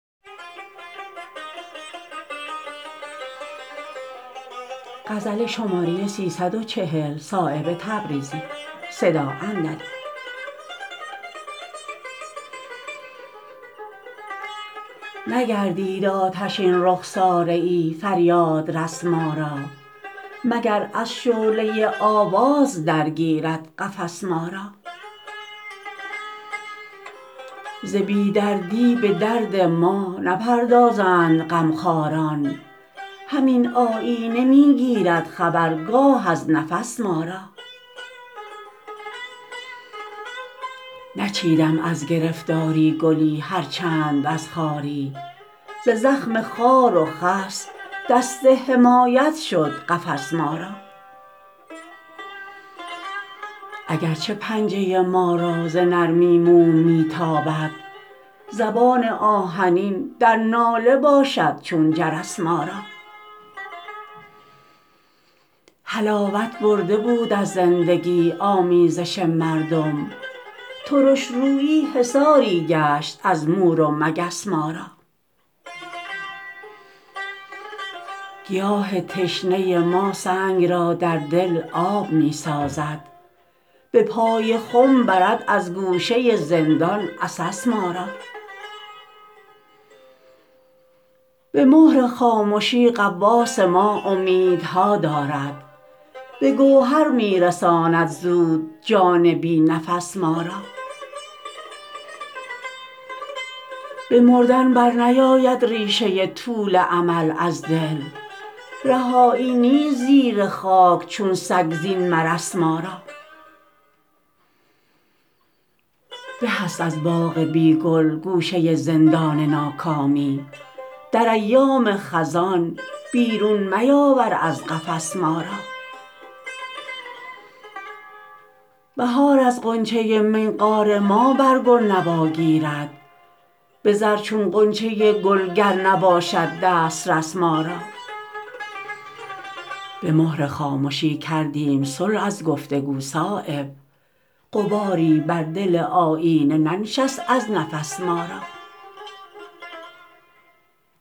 نگردید آتشین رخساره ای فریادرس ما را مگر از شعله آواز درگیرد قفس ما را ز بی دردی به درد ما نپردازند غمخواران همین آیینه می گیرد خبر گاه از نفس ما را نچیدم از گرفتاری گلی هر چند از خواری ز زخم خار و خس دست حمایت شد قفس ما را اگر چه پنجه ما را ز نرمی موم می تابد زبان آهنین در ناله باشد چون جرس ما را حلاوت برده بود از زندگی آمیزش مردم ترشرویی حصاری گشت از مور و مگس ما را گیاه تشنه ما سنگ را در دل آب می سازد به پای خم برد از گوشه زندان عسس ما را به مهر خامشی غواص ما امیدها دارد به گوهر می رساند زود جان بی نفس ما را به مردن برنیاید ریشه طول امل از دل رهایی نیست زیر خاک چون سگ زین مرس ما را به است از باغ بی گل گوشه زندان ناکامی در ایام خزان بیرون میاور از قفس ما را بهار از غنچه منقار ما برگ و نوا گیرد به زر چون غنچه گل گر نباشد دسترس ما را به مهر خامشی کردیم صلح از گفتگو صایب غباری بر دل آیینه ننشت از نفس ما را